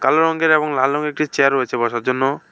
কালো রঙের এবং লাল রঙের একটি চেয়ার রয়েছে বসার জন্য।